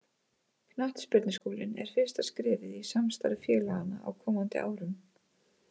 Knattspyrnuskólinn er fyrsta skrefið í samstarfi félaganna á komandi árum.